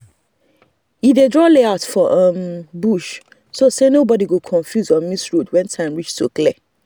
e dey draw layout for um bush so say nobody go confuse or miss road when time reach to clear.